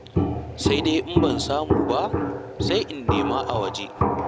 Sai dai in ban samu ba, sai in nema a waje.